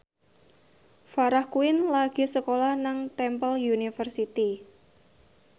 Farah Quinn lagi sekolah nang Temple University